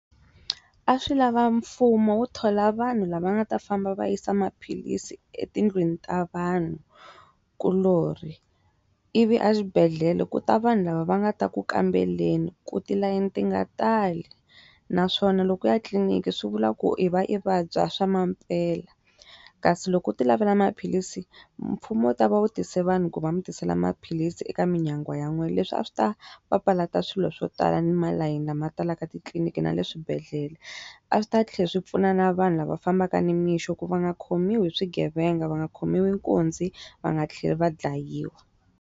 A swi lava mfumo wu thola vanhu lava nga ta famba va yisa maphilisi etindlwini ta vanhukuloni. Ivi exibedhela ku ta vanhu lava va nga ta ku kambeleni ku tilayeni ti nga tali. Naswona loko u ya tliniki swi vula ku i va i vabya swa maphela. Kasi loko u ti lavela maphilisi, mfumo wu ta va vutise vanhu ku va mi tisela maphilisi eka minyangwa ya n'wehe. Leswi a swi ta papalata ta swilo swo tala ni malayini lama tala titliniki na le swibedhlele. A swi ta tlhela swi pfuna na vanhu lava fambaka ni mixo ku va nga khomiwi hi swigevenga va nga khomiwi nkunzi, va nga tlheli va dlayiwa.